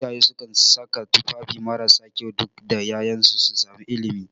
Iyaye sukan saka tufafi marasa kyau duk da ƴaƴansu su sami ilimi